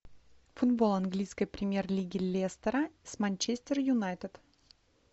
футбол английской премьер лиги лестера с манчестер юнайтед